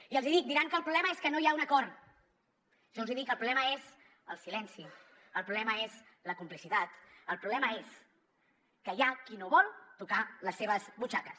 i els hi dic diran que el problema és que no hi ha un acord jo els hi dic que el problema és el silenci el problema és la complicitat el problema és que hi ha qui no vol tocar les seves butxaques